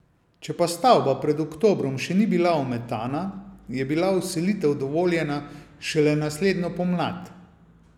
Če pa stavba pred oktobrom še ni bila ometana, je bila vselitev dovoljena šele naslednjo pomlad.